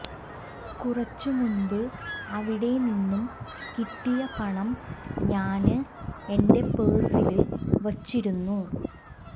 കുറച്ചു മുമ്പ് അവിടെനിന്നും കിട്ടിയ പണം ഞാന് എന്റെ പേഴ്സില് വെച്ചിരുന്നു